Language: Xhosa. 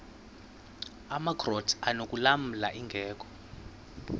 amakrot anokulamla ingeka